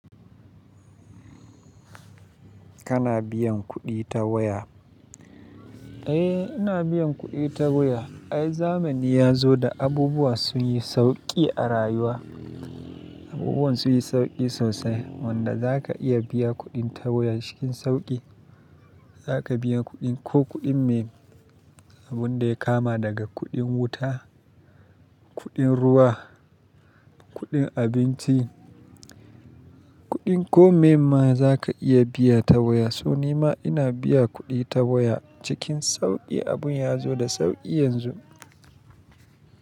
Kana biyan kuɗi ta waya? Eh, ina biyan kuɗi ta waya. Ai zamani ya zo da abubuwa sun yi sauƙi a rayuwa. Abubuwa sun yi sauƙi sosai wanda za ka iya biya kuɗin ta waya cikin sauƙi. Za ka biya kuɗin ko kuɗin me, abun da ya kama daga kuɗin wuta, kuɗin ruwa, kuɗin abinci, kuɗin ko me ma za ka iya biya ta waya. So ni ma ina biya kuɗi ta waya cikin sauƙi. Abun ya zo da sauƙi yanzu.